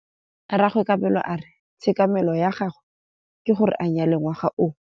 Rragwe Kabelo a re tshekamêlô ya gagwe ke gore a nyale ngwaga o.